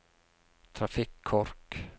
trafikkork